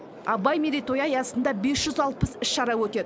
абай мерейтойы аясында бес жүз алпыс іс шара өтеді